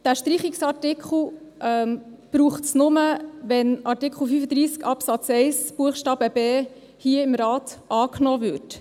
Diesen Streichungsartikel braucht es nur, wenn Artikel 35 Absatz 1 Buchstabe b hier im Rat angenommen wird.